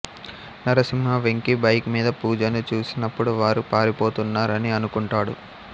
Narasimha Venki bike మీద పూజను చూసినప్పుడు వారు పారిపోతున్నారని అనుకుంటాడు